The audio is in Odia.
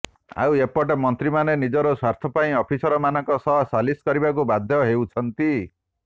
ଆଉ ଏପଟେ ମନ୍ତ୍ରୀମାନେ ନିଜର ସ୍ୱାର୍ଥ ପାଇଁ ଅଫିସରମାନଙ୍କ ସହ ସାଲିସ୍ କରିବାକୁ ବାଧ୍ୟ ହେଉଛନ୍ତି